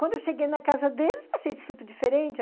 Quando eu cheguei na casa deles, achei superdiferente.